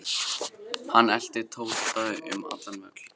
Hann elti Tóta um allan völl.